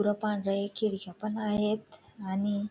पुढं पांढऱ्या हे खिडक्या पण आहेत आणि --